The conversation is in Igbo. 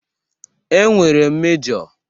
E nwere mejo.